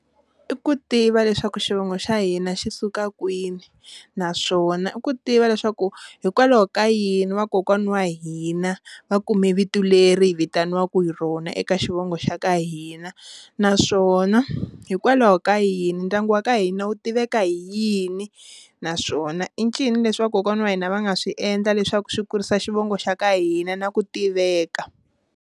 I ku tiva leswaku xivongo xa hina xi suka kwini naswona i ku tiva leswaku hikwalaho ka yini vakokwana wa hina va kume vito leri hi vitaniwaku hi rona eka xivongo xa ka hina, naswona hikwalaho ka yini ndyangu wa ka hina wu tiveka hi yini naswona i ncini leswi vakokwana wa hina va nga swi endla leswaku swi kurisa xivongo xa ka hina na ku tiveka.